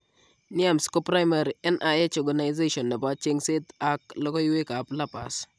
NIAMS ko primary NIH organization nebo cheng'seet ak logoywek ab lupus